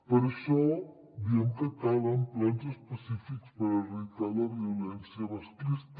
per això diem que calen plans específics per erradicar la violència masclista